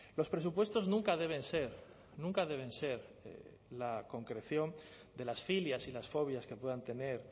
los presupuestos nunca deben ser nunca deben ser la concreción de las filias y las fobias que puedan tener